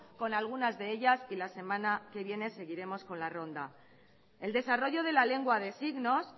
con algunas de ellas y la semana que viene seguiremos con la ronda el desarrollo de la lengua de signos